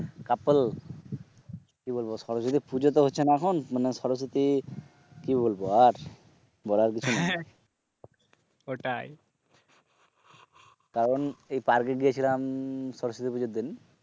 কাপল কি বলবো সরস্বতী পুজো তো হচ্ছে না এখন, মানে সরস্বতী কি বলব আর, বলার কিছু নেই, ওটাই, কারণ এই পার্ক এ গেছিলাম সরস্বতী পুজোর দিন